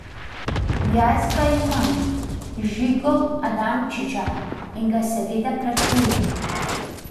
Jaz ga imam, Žigo Adamčiča, in ga seveda plačujem.